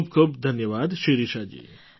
ખૂબ ખૂબ ધન્યવાદ શિરિષાજી